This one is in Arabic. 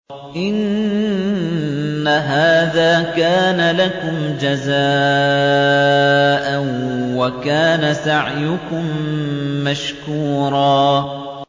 إِنَّ هَٰذَا كَانَ لَكُمْ جَزَاءً وَكَانَ سَعْيُكُم مَّشْكُورًا